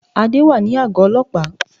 Adé wà ní àgó ọlọ́pàá